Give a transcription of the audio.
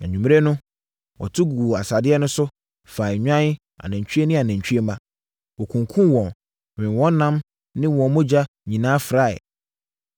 Anwummerɛ no, wɔto guu asadeɛ no so, faa nnwan, anantwie ne anantwie mma. Wɔkunkumm wɔn, wee wɔn ɛnam ne wɔn mogya nyinaa fraeɛ.